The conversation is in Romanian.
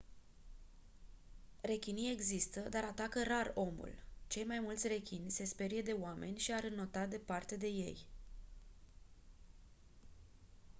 rechinii există dar atacă rar omul cei mai mulți rechini se sperie de oameni și ar înota departe de ei